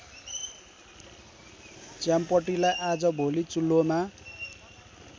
च्याम्पटीलाई आजभोलि चुल्होमा